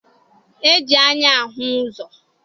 E ji anya ahụ ụzọ.